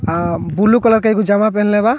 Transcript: आ blue colour के एगो जगा पहिनले बा।